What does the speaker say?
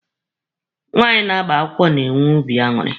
Nwaanyị na-agba akwụkwọ na-enwe obi aṅụrị.